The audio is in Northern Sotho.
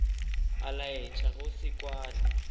a laetša go se kwane